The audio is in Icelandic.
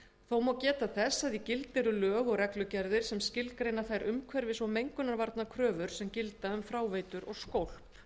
þó má geta þess að í gildi eru lög og reglugerðir sem skilgreina þær umhverfis og mengunarvarnakröfur sem gilda um fráveitur og skólp